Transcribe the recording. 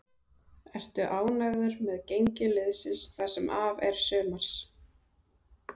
Ertu ánægður með gengi liðsins það sem af er sumars?